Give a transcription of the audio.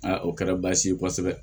o kɛra baasi ye kosɛbɛ